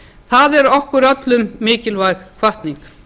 það eru okkur mikilvæg hvatning